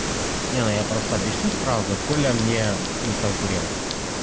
не ну я просто объясню сразу коля мне не конкурент